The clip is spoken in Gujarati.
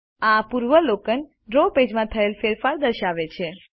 આ પૂર્વાવલોકન ડ્રો પેજમાં થયેલ ફેરફારો દર્શાવે છે